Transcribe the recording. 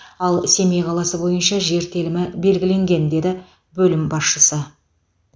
ал семей қаласы бойынша жер телімі белгіленген деді бөлім басшысы